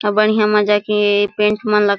अऊ बढ़िया मजा के पेंट मन ला--